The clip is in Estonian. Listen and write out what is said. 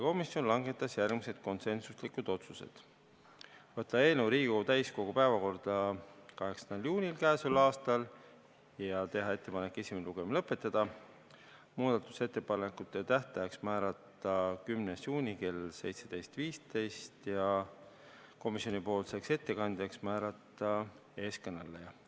Komisjon langetas järgmised konsensuslikud otsused: võtta eelnõu Riigikogu täiskogu päevakorda 8. juuniks käesoleval aastal ja teha ettepanek esimene lugemine lõpetada, muudatusettepanekute tähtajaks määrata 10. juuni kell 17.15 ja komisjoni ettekandjaks määrata teie ees kõneleja.